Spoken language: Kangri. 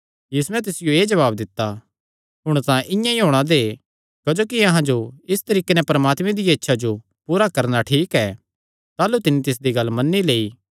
यीशुयैं तिसियो एह़ जवाब दित्ता हुण तां इआं ई होणा दे क्जोकि अहां जो इस तरीके नैं परमात्मे दिया इच्छा जो पूरा करणा ठीक ऐ ताह़लू तिन्नी तिसदी गल्ल मन्नी लेई